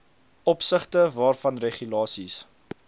opsigte waarvan regulasies